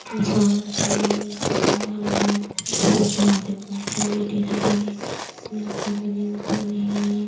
इंसान हे पानी वाला बहुत आदमी बइठे हे जो टीशर्ट पहिने हे ब्लैक कलर के जींस पहिने हे।